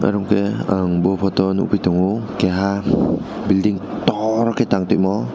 aro khe ang bo photo o nugui tango kaiha building torkhe tang timo.